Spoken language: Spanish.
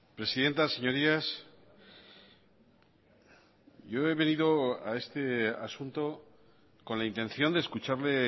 presidenta señorías yo he venido a este asunto con la intención de escucharle